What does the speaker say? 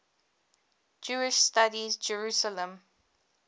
jewish studies jerusalem